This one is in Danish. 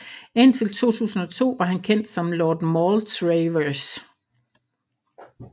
Indtil 2002 var han kendt som Lord Maltravers